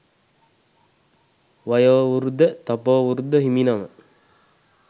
වයෝවෘධ තපෝවෘධ හිමිනම